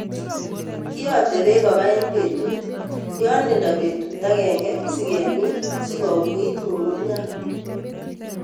Kiyote beek koba en betit yon linda betut agenge sikemin sikouit ng'ung'unyat.